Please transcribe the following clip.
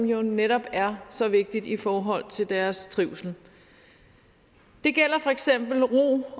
jo netop er så vigtigt i forhold til deres trivsel det gælder for eksempel ro